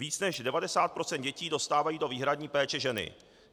Více než 90 % dětí dostávají do výhradní péče ženy.